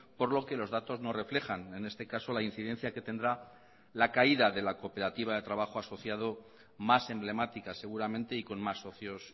por lo que los datos no reflejan en este caso la incidencia que tendrá la caída de la cooperativa de trabajo asociado más emblemática seguramente y con más socios